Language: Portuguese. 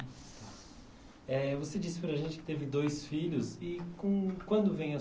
Eh você disse para a gente que teve dois filhos. E como, quando vem a